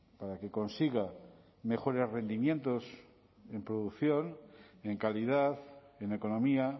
para que consiga mejores rendimientos en producción en calidad en economía